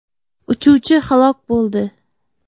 Uchuvchi halok bo‘ldi.